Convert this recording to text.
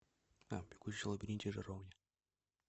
бегущий в лабиринте жаровня